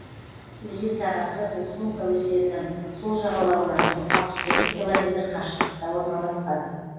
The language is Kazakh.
өзен сағасы уржумка өзенінің сол жағалауынан алпыс тоғыз километр қашықтықта орналасқан